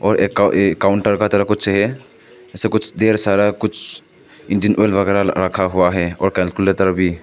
और एक काउंटर इधर कुछ हैं इसपे कुछ ढेर सारा कुछ इंजन ऑयल वैगरा रखा हुआ है और कैलकुलेटर भी।